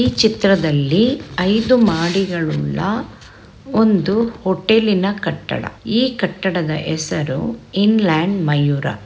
ಈ ಚಿತ್ರದಲ್ಲಿ ಐದು ಮಹಡಿಗಳುಳ್ಳ ಒಂದು ಹೋಟೆಲಿನ ಕಟ್ಟಡ ಈ ಕಟ್ಟಡದ ಹೆಸರು ಇನ್ಲ್ಯಾಂಡ್ ಮಯೂರ.